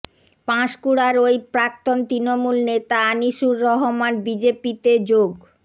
পাঁশকুড়ার ওই প্রাক্তন তৃণমূল নেতা আনিসুর রহমান বিজেপিতে যোগ